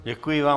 Děkuji vám.